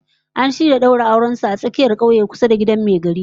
An shirya daura auren su a dandalin tsakiyar kauye kusa da gidan mai gari